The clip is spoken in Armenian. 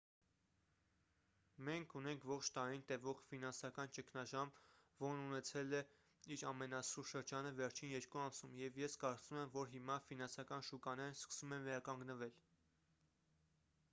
մենք ունենք ողջ տարին տևող ֆինանսական ճգնաժամ որն ունեցել է իր ամենասուր շրջանը վերջին երկու ամսում և ես կարծում եմ որ հիմա ֆինանսական շուկաներն սկսում են վերականգնվել